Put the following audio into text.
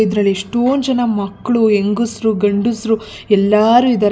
ಇದರಲ್ಲಿ ಎಷ್ಟೊಂದ್ ಜನ ಮಕ್ಕಳು ಹೆಂಗಸರು ಗಂಡಸರು ಎಲ್ಲರೂ ಇದ್ದಾರೆ ಇಲ್ಲಿ ----